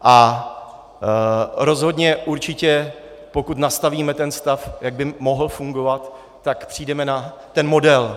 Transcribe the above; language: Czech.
A rozhodně, určitě, pokud nastavíme ten stav, jak by mohl fungovat, tak přijdeme na ten model.